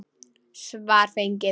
Svar fengið.